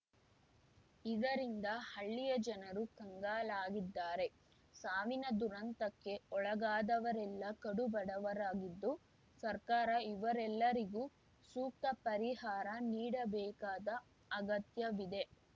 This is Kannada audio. ಇದರಿಂದ ಹಳ್ಳಿಯ ಜನರು ಕಂಗಾಲಾಗಿದ್ದಾರೆ ಸಾವಿನ ದುರಂತಕ್ಕೆ ಒಳಗಾದವರೆಲ್ಲ ಕಡು ಬಡವರಾಗಿದ್ದು ಸರ್ಕಾರ ಇವರೆಲ್ಲರಿಗೂ ಸೂಕ್ತ ಪರಿಹಾರ ನೀಡಬೇಕಾದ ಅಗತ್ಯವಿದೆ